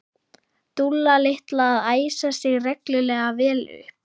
Dúlla litla að æsa sig reglulega vel upp.